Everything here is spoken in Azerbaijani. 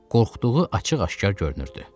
qorxduğu açıq-aşkar görünürdü.